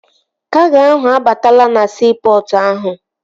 Kago ahụ abatala na siipọtụ ahụ